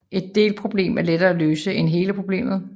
Et delproblem er nemlig lettere at løse end hele problemet